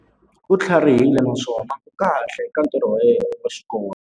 U tlharihile naswona u kahle eka ntirho wa xikolo.